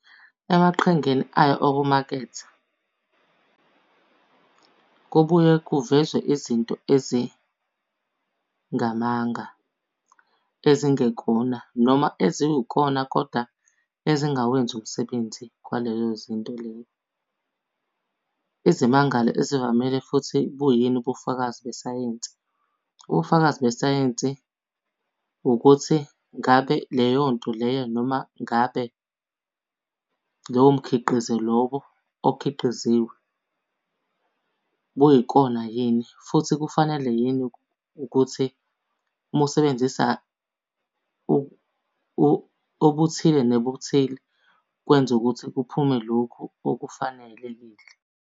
Emaqhingeni ayo okumaketha, kobuye kuvezwe izinto ezingamanga ezingekona, noma eziwukona koda ezingawenzi umsebenzi kwaleyo zinto leyo. Izimangalo ezivamile futhi, buyini ubufakazi besayensi? Ubufakazi besayensi ukuthi ngabe leyo nto leyo noma ngabe lowo mkhiqizo lowo okhiqiziwe, kuyikona yini. Futhi kufanele yini ukuthi uma usebenzisa obuthile nebuthile, kwenza ukuthi kuphume lokhu okufanelekile.